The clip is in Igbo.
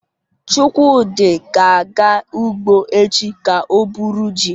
Chukwudi ga-aga ugbo echi ka o buru ji